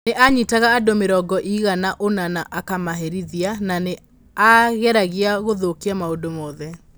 Nĩ aanyitaga andũ mĩrongo ĩigana ũna na akamaherithia, na nĩ aageragia gũthũkia maũndũ mothe.